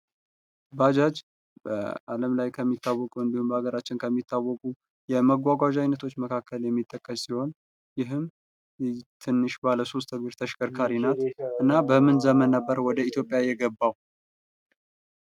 ባጃጅ በአለም ላይ ከሚታወቁ እንዲሁም በሀገራችን ከሚታወቁ የመጓጓዣ አይነቶች መካከል የሚጠቀስ ሲሆን ይህም ትንሽ ባለ ሶስት እግር ተሽከርካሪ ናት። እና በምን ዘመን ነበር ወደ ኢትዮጵያ የገባው?